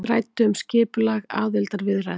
Ræddu um skipulag aðildarviðræðna